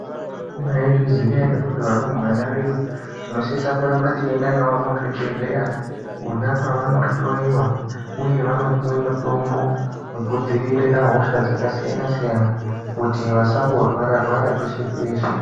Mwaizviziya ere kuti arumbwana vedu tinosise kuramba teienda navo muzvibhedhlera kwona kwavanohlloiwa uye vanopiwa mutombo wekudzivirira hosha dzakasiyana siyana kuti vasangorwara rwara peshe peshe.